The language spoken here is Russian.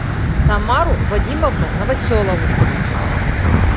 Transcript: тамару вадимовну новоселову